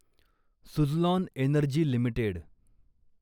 Suzlon energy limited